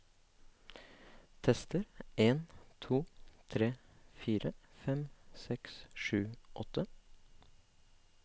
Tester en to tre fire fem seks sju åtte